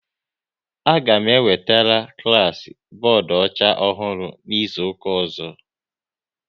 A ga m ewetere klas bọọdụ ọcha ọhụrụ n'izuka ọzọ